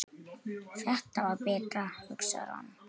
Þetta var betra, hugsar hann.